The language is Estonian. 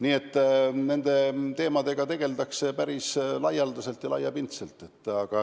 Nii et nende teemadega tegeldakse päris laialdaselt ja laiapindselt.